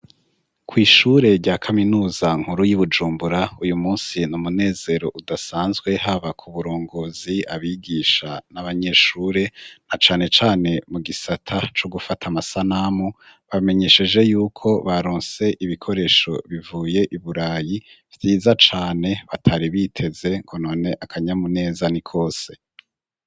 Kw'ishure rya kaminuza nkuru y'i Bujumbura, uyu munsi ni umunezero udasanzwe haba ku burongozi, abigisha n'abanyeshure na cane cane mu gisata co gufata amasanamu; bamenyesheje yuko baronse ibikoresho bivuye iburayi vyiza cane batari biteze, ngo none akanyamuneza ni kose.